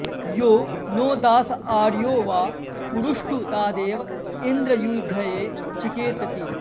यो नो दास आर्यो वा पुरुष्टुतादेव इन्द्र युधये चिकेतति